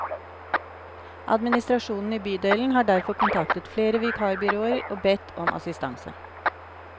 Administrasjonen i bydelen har derfor kontaktet flere vikarbyråer og bedt om assistanse.